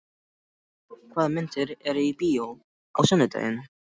Jósep, hvaða myndir eru í bíó á sunnudaginn?